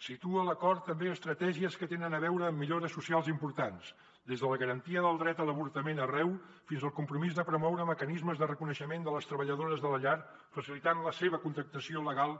situa l’acord també estratègies que tenen a veure amb millores socials importants des de la garantia del dret a l’avortament arreu fins al compromís de promoure mecanismes de reconeixement de les treballadores de la llar facilitant la seva contractació legal